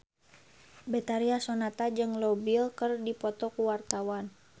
Betharia Sonata jeung Leo Bill keur dipoto ku wartawan